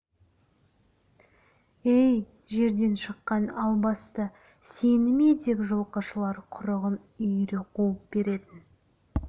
әй жерден шыққан албасты сені ме деп жылқышылар құрығын үйіре қуып беретін